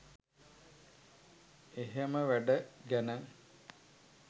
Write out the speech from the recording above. එහෙම වැඩ ගැන